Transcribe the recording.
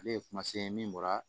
Ale ye kuma se min bɔra